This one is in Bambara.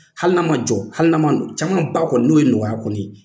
Hali n'a ma jɔ hali n'a ma caman ba kɔnɔ n'o ye nɔgɔya kɔni ye